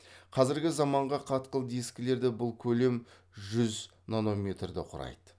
қазіргі заманғы қатқыл дискілерде бұл көлем жүз нанометрді құрайды